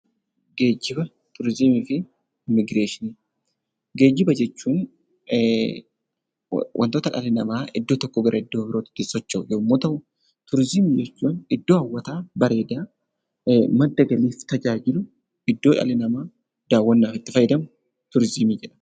Geejjiba jechuun wantoota dhalli namaa iddoo tokkoo gara iddoo birootti ittiin socho'u yommuu ta'u, turizimii jechuun iddoo hawwataa, bareedaa, madda galiif tajaajilu, iddoo dhalli namaa daawwannaaf itti fayyadamu turizimii jenna.